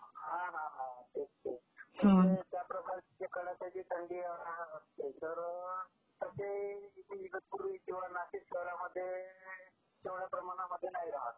हा हा हा तेच ते. त्या प्रकारची कडाक्याची थंडी इकडं इगतपुरी किंवा नाशिक शहरांमध्ये तेवढ्या प्रमाणामध्ये नाही राहत.